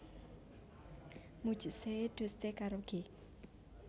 Mujhse Dosti Karoge